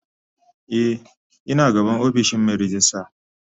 Eh ina gaban ofishin Mai rejista.